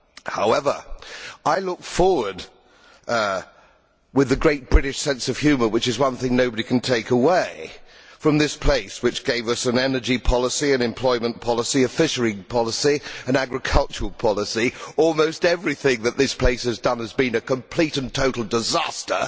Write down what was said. However, I look forward with the great British sense of humour which is one thing nobody can take away from us in this place which gave us an energy policy, an employment policy, a fisheries policy, an agricultural policy that have been as almost everything that this place has done has been a complete and total disaster.